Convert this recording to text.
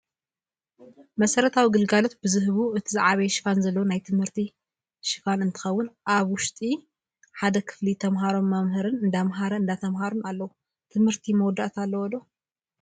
መሰረታዊ ግልጋሎት ብ ዝህቡ እቲ ዝዓበየ ሽፋን ዘለዎ ናይ ትምህርቲ ክፋን እንከውን ኣበ ውሽቲ ሓደ ክፍሊ ተመሃሮን መምህር እንዳመሀረን እንዳተማሃሩን ኣለው። ትምህርቲ መወዳእታ ኣለዎ?